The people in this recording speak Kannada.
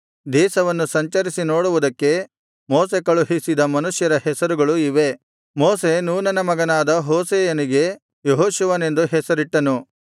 ದೇಶವನ್ನು ಸಂಚರಿಸಿ ನೋಡುವುದಕ್ಕೆ ಮೋಶೆ ಕಳುಹಿಸಿದ ಮನುಷ್ಯರ ಹೆಸರುಗಳು ಇವೇ ಮೋಶೆ ನೂನನ ಮಗನಾದ ಹೋಶೇಯನಿಗೆ ಯೆಹೋಶುವನೆಂದು ಹೆಸರಿಟ್ಟನು